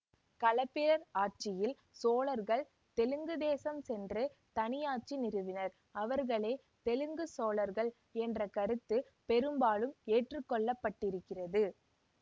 களப்பிரர் ஆட்சியில் சோழர்கள் தெலுங்கு தேசம் சென்று தனியாட்சி நிறுவினர் அவர்களே தெலுங்குச் சோழர்கள் என்ற கருத்து பெரும்பாலும் ஏற்றுக்கொள்ளப்பட்டிருக்கிறது